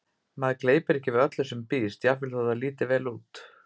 Maður gleypir ekki við öllu sem býðst, jafnvel þótt það líti vel út